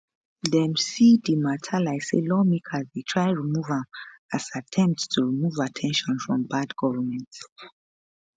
dem see di mata like say lawmakers dey try remove am as attempt to remove at ten tion from bad governance